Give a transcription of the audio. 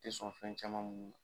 Te sɔn fɛn caman munnu na